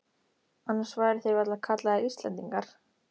Annars væru þeir varla kallaðir Íslendingar.